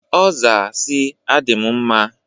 Ọ zaa si, "Adị m mma!"